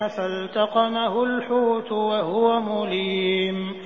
فَالْتَقَمَهُ الْحُوتُ وَهُوَ مُلِيمٌ